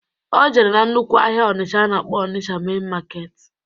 O jere na nnukwu ahịa Ọnisha a na-akpọ Ọnisha mein maketi